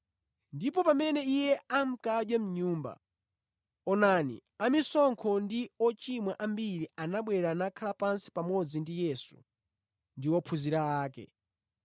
Ndipo pamene Iye ankadya mʼnyumba, onani, amisonkho ndi ochimwa ambiri anabwera nakhala pansi pamodzi ndi Yesu ndi ophunzira ake.